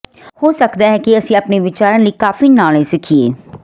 ਹੋ ਸਕਦਾ ਹੈ ਕਿ ਅਸੀਂ ਆਪਣੇ ਵਿਚਾਰਾਂ ਲਈ ਕਾਫ਼ੀ ਨਾ ਲੈ ਸਕੀਏ